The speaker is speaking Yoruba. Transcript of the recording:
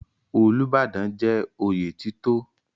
Olúbàdàn jẹ́ oyè títò.